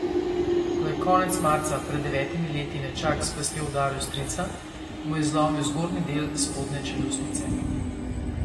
Ko je konec marca pred devetimi leti nečak s pestjo udaril strica, mu je zlomil zgornji del spodnje čeljustnice.